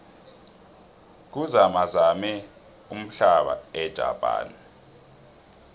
kuzamazame umhlaba ejapane